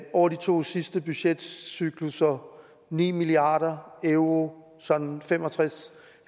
over de to sidste budgetcyklusser ni milliard euro sådan fem og tres